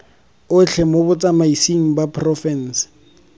otlhe mo botsamaisng ba porofense